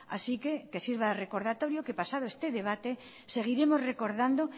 así que que sirva de recordatorio que pasado este debate seguiremos recordando